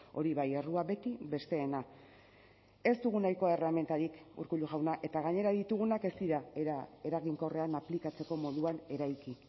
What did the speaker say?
hori bai errua beti besteena ez dugu nahikoa erremintarik urkullu jauna eta gainera ditugunak ez dira era eraginkorrean aplikatzeko moduan eraiki